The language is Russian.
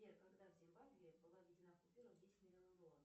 сбер когда в зимбабве была введена купюра в десять миллионов долларов